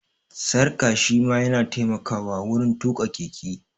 Sarƙa shi ma ya na taimakawa wurin tuƙa keke